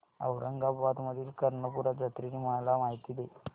औरंगाबाद मधील कर्णपूरा जत्रेची मला माहिती दे